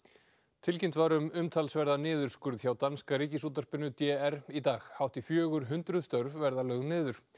tilkynnt var um umtalsverðan niðurskurð hjá Danska Ríkisútvarpinu d r í dag hátt í fjögur hundruð störf verða lögð niður